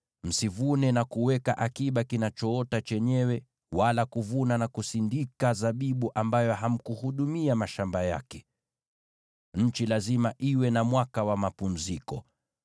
Msivune na kuweka akiba kinachoota chenyewe, wala kuvuna na kusindika zabibu ambayo hamkuhudumia mashamba yake. Nchi lazima iwe na mwaka wa mapumziko.